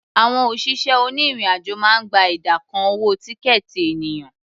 Àwọn òṣìṣẹ́ onírìn-àjò máa ń gba ìdá kan owó tíkẹ̀ẹ̀tì ènìyàn.